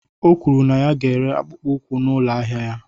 O kwuru na ya ga-ere akpụkpọ ụkwụ n'ụlọ ahịa ahịa ya